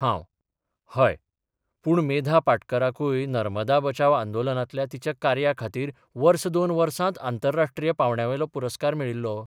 हांव हय, पूण मेधा पाटकराकूय नर्मदा बचाव आंदोलनांतल्या तिच्या कार्या खातीर वर्स दोन वर्सात आंतरराष्ट्रीय पांवड्यावेलो पुरस्कार मेळिल्लो.